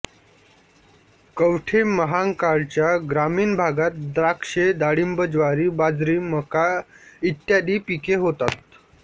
कवठेमहांकाळ च्या ग्रामीण भागात द्राक्षे डाळिंब ज्वारी बाजरी मका इत्यादिी पिके होतात